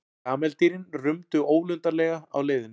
Kameldýrin rumdu ólundarlega á leiðinni.